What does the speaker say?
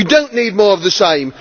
We do not need more of the same.